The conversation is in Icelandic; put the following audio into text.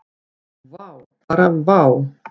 Vá, bara vá.